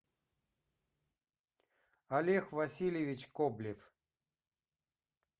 олег васильевич коблев